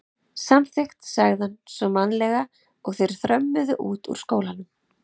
Samþykkt sagði hann svo mannalega og þeir þrömmuðu út úr skólanum.